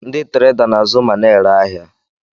Ndị Trẹda na-azu ma na-ere ahịa.